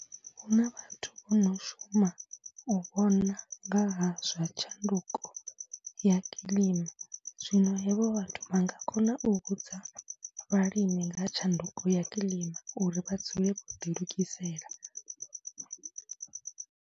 Hu na vhathu vho no shuma u vhona nga ha zwa tshanduko ya kiḽima, zwino hevho vhathu vha nga kona u vhudza vhalimi nga tshanduko ya kilima uri vha dzule vho ḓilugisela.